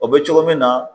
O bɛ cogo min na